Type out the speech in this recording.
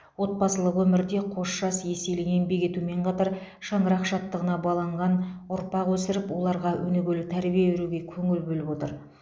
отбасылық өмірде қос жас еселі еңбек етумен қатар шаңырақ шаттығына баланған ұрпақ өсіріп оларға өнегелі тәрбие беруге көңіл бөліп отыр